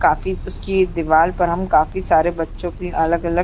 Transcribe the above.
काफी उसकी एक दीवार पर हम काफी सारे बच्चो की अलग-अलग--